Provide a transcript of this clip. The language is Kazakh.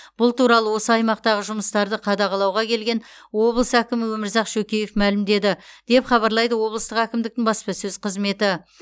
бұл туралы осы аймақтағы жұмыстарды қадағалауға келген облыс әкімі өмірзақ шөкеев мәлімдеді деп хабарлайды облыстық әкімдіктің баспасөз қызметі